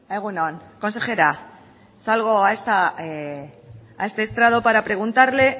egun on consejera salgo a este estrado para preguntarle